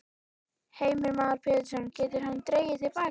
Heimir Már Pétursson: Getur hann dregið til baka?